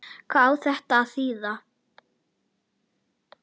Hvað á þetta að þýða?